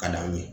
Ka d'aw ye